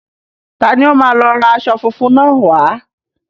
Ta ni ó máa lọ ra aṣọ fúnfun náà wá.